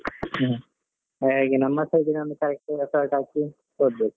ಹ್ಮ್ ಹಾಗೆ ನಮ್ಮ side ಯಿಂದ effort ಹಾಕಿ ಓದ್ಬೇಕು.